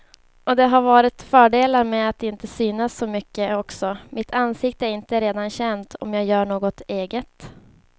Och det har varit fördelar med att inte synas så mycket också, mitt ansikte är inte redan känt om jag gör något eget.